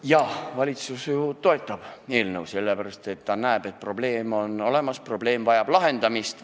Jaa, valitsus toetab eelnõu, sellepärast et ta näeb, et on olemas probleem, mis vajab lahendamist.